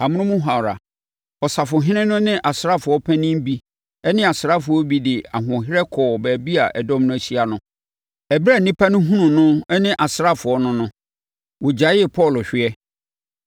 Amonom hɔ ara, ɔsafohene no ne asraafoɔ mpanin bi ne asraafoɔ bi de ahoɔherɛ kɔɔ baabi a dɔm no ahyia no. Ɛberɛ a nnipa no hunuu no ne asraafoɔ no no, wɔgyaee Paulo hweɛ.